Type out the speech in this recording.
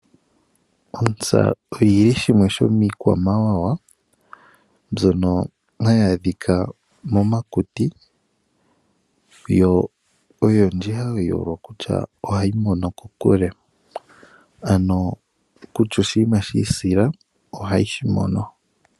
Ontsa oyi li shimwe sho miikwamawawa mbyono hayi adhika momakuti, yo oyendji oye hole okutya ohayi mono kokule, ano kutya oshinima sha isila, ohayi shi mono.